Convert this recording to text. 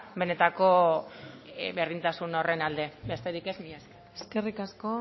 benetako berdintasun horren aldez besterik ez eskerrik asko